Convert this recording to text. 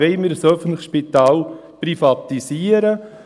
Wollen wir ein öffentliches Spital privatisieren?